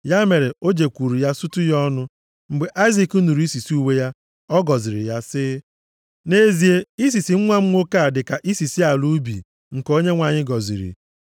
Ya mere, o jekwuuru ya sutu ya ọnụ. Mgbe Aịzik nụrụ isisi uwe ya, ọ gọziri ya, sị, “Nʼezie, isisi nwa m nwoke dịka isisi ala ubi nke Onyenwe anyị gọziri.